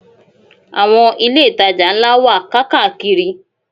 Àwọn ilé-ìtajà ńlá wà káàkàkiri.